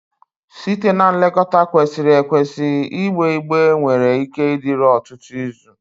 Site na nlekọta kwesịrị ekwesị, igbe igbe nwere ike ịdịru ọtụtụ izu.